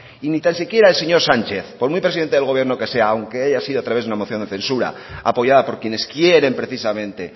y ni tan siquiera el señor sánchez por muy presidente del gobierno que sea aunque haya sido a través de una moción de censura apoyada por quienes quieren precisamente